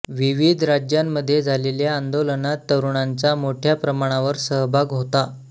विविध राज्यांमध्ये झालेल्या आंदोलनांत तरुणांचा मोठ्या प्रमाणावर सहभाग होता